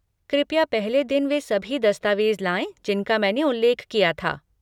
कृपया पहले दिन वे सभी दस्तावेज़ लाएँ जिनका मैंने उल्लेख किया था।